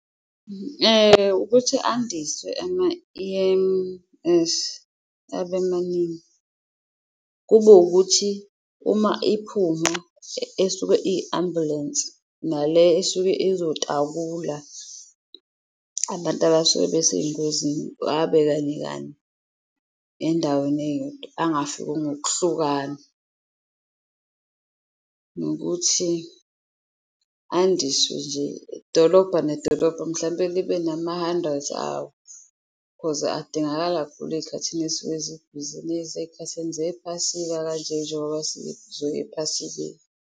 Ukuthi andiswe ama-E_M_S abemaningi, kube ukuthi uma iphuma esuke i-ambulensi nale esuke ezotakula abantu abasuke besey'ngozini abe kanye kanti endaweni eyodwa, angafiki ngokuhlukana. Nokuthi andiswe nje, idolobha nedolobha mhlawumpe libe nama-hundreds awo cause adingakala kakhulu ey'khathini ezisuke zibhizi ey'khathini zephasika kanje njengoba ephasikeni.